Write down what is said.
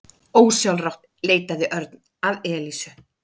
Ósjálfrátt leitaði Örn að Elísu.